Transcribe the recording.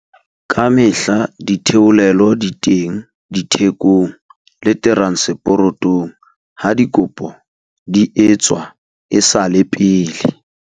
Ka mehla ditheolelo di teng dithekong le teranseporotong ha dikopo di etswa e sa le pele.